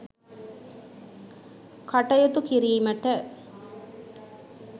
කටයුතු කිරීමට